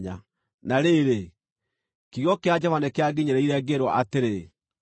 Na rĩrĩ, kiugo kĩa Jehova nĩkĩanginyĩrĩire, ngĩĩrwo atĩrĩ: